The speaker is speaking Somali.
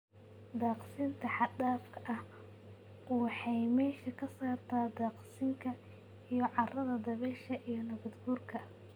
Daaqsinta xad dhaafka ahi waxa ay meesha ka saartaa daaqsinka iyo carrada dabaysha iyo nabaad guurka.